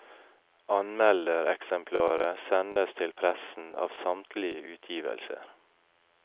Anmeldereksemplarer sendes til pressen av samtlige utgivelser.